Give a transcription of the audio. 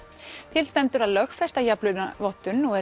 til stendur að lögfesta jafnlaunavottun og er